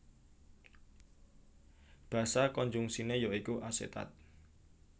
Basa konjungsiné ya iku asetat